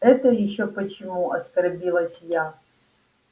это ещё почему оскорбилась я